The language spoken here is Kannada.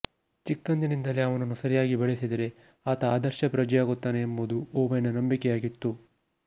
ಚಿಕ್ಕಂದಿನಿಂದಲೇ ಅವನನ್ನು ಸರಿಯಾಗಿ ಬೆಳೆಸಿದರೆ ಆತ ಆದರ್ಶ ಪ್ರಜೆಯಾಗುತ್ತಾನೆಎಂಬುದು ಓವೆನ್ನ ನಂಬಿಕೆಯಾಗಿತ್ತು